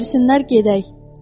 Pul versinlər, gedək.